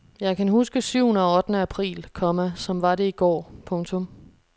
Jeg kan huske syvende og ottende april, komma som var det i går. punktum